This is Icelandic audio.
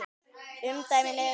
Umdæmin eru